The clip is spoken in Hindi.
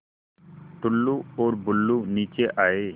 टुल्लु और बुल्लु नीचे आए